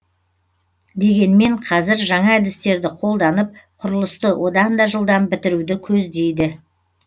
дегенмен қазір жаңа әдістерді қолданып құрылысты одан да жылдам бітіруді көздейді